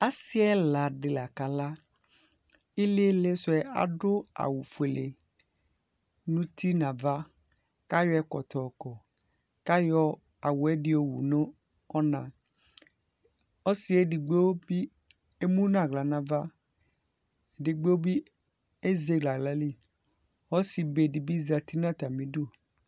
asii ɛla di la kala, ilili sʋɛ adʋ awʋ ƒʋɛlɛ nʋ ʋti nʋ aɣa kʋ ayɔ ɛkɔtɔ ɔkɔ kʋ ayɔ awʋɛ di ɔwʋ nʋ ɔna, ɔsiiɛ ɛdigbɔ bi ɛmʋnʋ ala nʋ aɣa ɛdigbɔ bi ɛzɛlɛ ala li ɔsii ɔbɛ ɛdigbɔ bi ɔdʋ atami idʋ